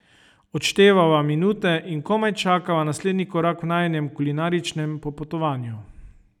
Odštevava minute in komaj čakava naslednji korak v najinem kulinaričnem popotovanju.